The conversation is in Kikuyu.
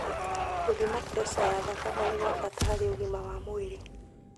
Gũthima preca ya thakame nĩ gwa bata harĩ ũgima wa mwĩrĩ